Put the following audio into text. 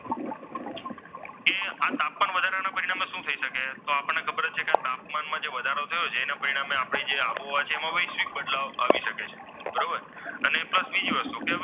તાપમાનમાં જે વધારો થયો છે તેના પરિણામે આપણે જે આબોહવા વૈશ્વિક બદલાવ આવી શકે છે બરોબર અને પ્લસ બીજી વસ્તુ,